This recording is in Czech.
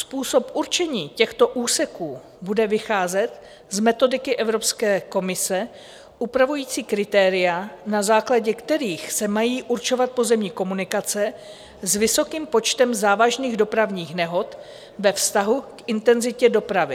Způsob určení těchto úseků bude vycházet z metodiky Evropské komise upravující kritéria, na základě kterých se mají určovat pozemní komunikace s vysokým počtem závažných dopravních nehod ve vztahu k intenzitě dopravy.